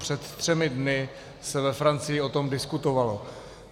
Před třemi dny se ve Francii o tom diskutovalo.